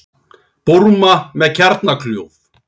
Búrma með kjarnakljúf